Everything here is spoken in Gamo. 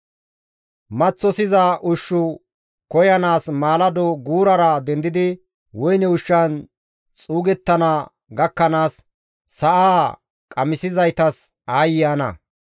Maththosiza ushshu koyanaas maalado guurara dendidi woyne ushshan xuugettana gakkanaas, sa7aa qamisizaytas aayye ana!